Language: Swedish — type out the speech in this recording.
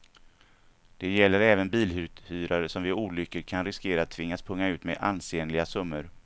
Det gäller även biluthyrare som vid olyckor kan riskera att tvingas punga ut med ansenliga summor.